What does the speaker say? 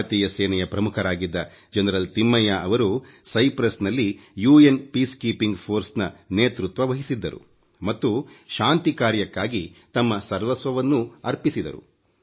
ಭಾರತೀಯ ಸೇನೆಯ ಪ್ರಮುಖರಾಗಿದ್ದ ಜನರಲ್ ತಿಮ್ಮಯ್ಯ ಅವರು ಸೈಪ್ರಸ್ ನಲ್ಲಿ ವಿಶ್ವಸಂಸ್ಥೆ ಶಾಂತಿ ಕಾರ್ಯಪಡೆ ನೇತೃತ್ವ ವಹಿಸಿದ್ದರು ಮತ್ತು ಶಾಂತಿ ಕಾರ್ಯಕ್ಕಾಗಿ ತಮ್ಮ ಸರ್ವಸ್ವವನ್ನು ಅರ್ಪಿಸಿದರು